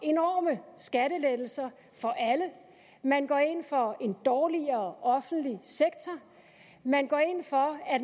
enorme skattelettelser for alle man går ind for en dårligere offentlig sektor man går ind for at